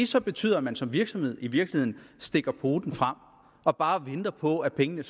så betyder at man som virksomhed i virkeligheden stikker poten frem og bare venter på at pengene